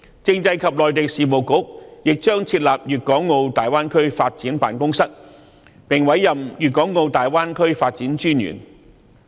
政制及內地事務局亦將設立粵港澳大灣區發展辦公室，並委任粵港澳大灣區發展專員。